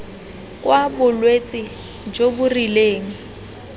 kwa bolwetse jo bo rileng